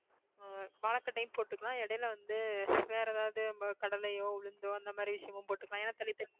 ஆஹ் வாழைக்கட்டையும் போட்டுக்கலாம் இடையில வந்து வேற எதாவது நம்ம கடலையோ உளுந்தோ அந்த மாதிரி விஷயமும் போட்டுக்கலாம் ஏன்னா தள்ளி தள்ளி